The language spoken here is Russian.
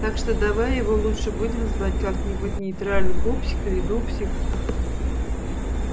так что давай его лучше будем звать как-нибудь нейтрально пупсик или дупсик